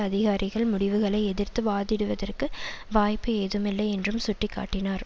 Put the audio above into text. அதிகாரிகள் முடிவுகளை எதிர்த்து வாதிடுவதற்கு வாய்ப்பு ஏதுமில்லை என்றும் சுட்டி காட்டினார்